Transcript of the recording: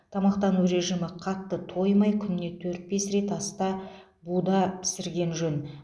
тамақтану режимі қатты тоймай күніне төрт бес рет аста буда пісірген жөн